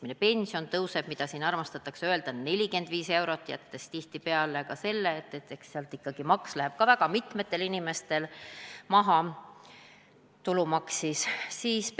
Me teame, et keskmine pension kasvab 45 eurot – nagu siin armastatakse öelda –, aga eks sellest läheb nii mõnelgi inimesel ka tulumaks maha.